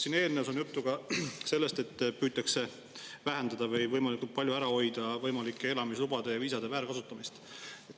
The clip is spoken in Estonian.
Siin eelnõus on juttu ka sellest, et püütakse vähendada või võimalikult palju ära hoida elamislubade ja viisade väärkasutamist.